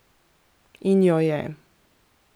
In jo je!